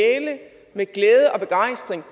med glæde og begejstring